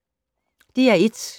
DR1